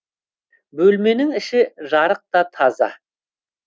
бөлменің іші жарық та таза